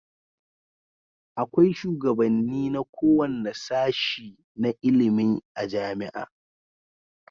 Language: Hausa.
Akwai shugabanni na kowanne sashe na ilimin a jamia